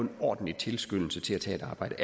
en ordentlig tilskyndelse til at tage et arbejde